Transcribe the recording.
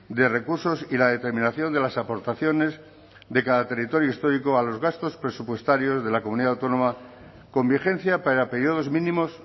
de recursos y la determinación de las aportaciones de cada territorio histórico a los gastos presupuestarios de la comunidad autónoma con vigencia para períodos mínimos